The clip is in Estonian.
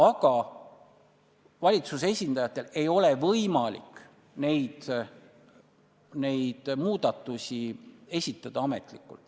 Aga valitsuse esindajatel ei ole võimalik neid muudatusi esitada ametlikult.